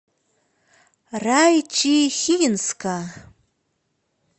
райчихинска